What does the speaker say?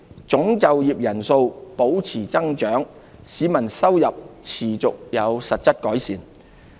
總就業人數保持增長，市民收入持續有實質改善。